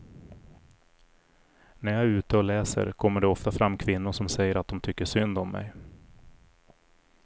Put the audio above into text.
När jag är ute och läser kommer det ofta fram kvinnor som säger att de tycker synd om mig.